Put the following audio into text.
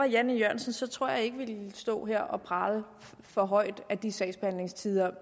jan e jørgensen tror jeg ikke jeg ville stå her og prale for højt af de sagsbehandlingstider